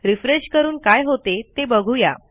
refresh करून काय होते ते बघू या